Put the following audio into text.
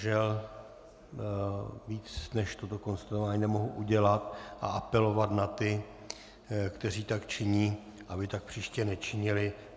Žel víc než toto konstatování nemohu udělat a apelovat na ty, kteří tak činí, aby tak příště nečinili.